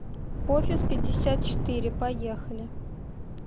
офис пятьдесят четыре поехали